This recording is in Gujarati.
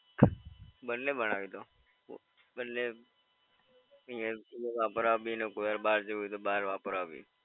બંને બનાવી દો. બંને અહીયાં વાપરવા ભી અને કોઈ વાર બહાર જવું હોય તો બહાર વાપરવા ભી.